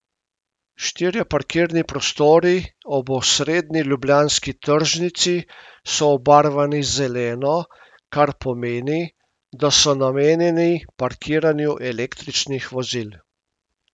Štirje parkirni prostori ob osrednji ljubljanski tržnici so obarvani zeleno, kar pomeni, da so namenjeni parkiranju električnih vozil.